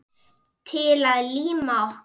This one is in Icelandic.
Til að líma okkur.